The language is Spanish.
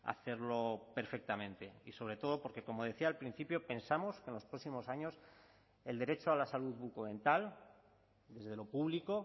hacerlo perfectamente y sobre todo porque como decía al principio pensamos que en los próximos años el derecho a la salud bucodental desde lo público